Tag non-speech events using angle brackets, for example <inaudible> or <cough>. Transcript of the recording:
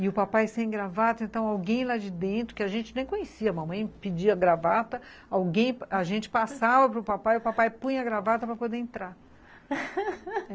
E o papai sem gravata, então alguém lá de dentro, que a gente nem conhecia, a mamãe pedia gravata, a gente passava para o papai e o papai punha a gravata para poder entrar <laughs>